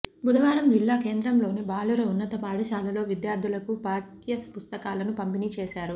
బుధవారం జిల్లా కేంద్రంలోని బాలుర ఉన్నత పాఠశాలలో విద్యార్థులకు పాఠ్యపుస్తకాలను పంపిణీ చేశారు